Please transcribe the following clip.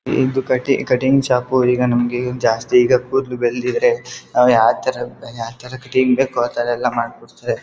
ಇದು ಕಟಿ cutting shop ಈಗ ನಮ್ಗೆ ಜಾಸ್ತಿ ಈಗ ಕೂದಲು ಬೆಳ್ದಿದ್ರೆ ನಾವು ಯಾವತರ ಯಾವತರ ಕಟಿಂಗ್ ಬೇಕೊ ಆ ಥರ ಎಲ್ಲ ಮಾಡ್ಕೊಡ್ತಾರೆ.